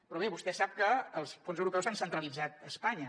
però bé vostè sap que els fons europeus s’han centralitzat a espanya